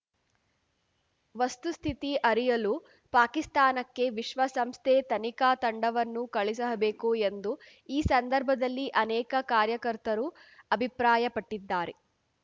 ವಸ್ತುಸ್ಥಿತಿ ಅರಿಯಲು ಪಾಕಿಸ್ತಾನಕ್ಕೆ ವಿಶ್ವ ಸಂಸ್ಥೆ ತನಿಖಾ ತಂಡವನ್ನು ಕಳುಹಿಸಬೇಕು ಎಂದು ಈ ಸಂದರ್ಭದಲ್ಲಿ ಅನೇಕ ಕಾರ್ಯಕರ್ತರು ಅಭಿಪ್ರಾಯಪಟ್ಟಿದ್ದಾರೆ